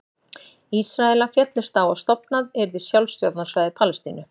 Ísraelar féllust á að stofnað yrði sjálfstjórnarsvæði Palestínu.